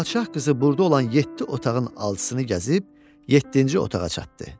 Padşah qızı burda olan yeddi otağın alcısını gəzib, yeddinci otağa çatdı.